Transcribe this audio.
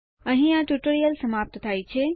અહીં આ ટ્યુટોરીયલ સમાપ્ત થાય છે